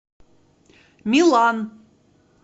милан